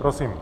Prosím.